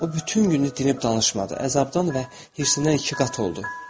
O bütün günü dinib danışmadı, əzabdan və hirsindən iki qat oldu.